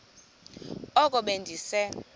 oko be ndise